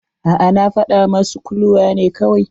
A'a, na fadawa masu kuluwa ne kawai.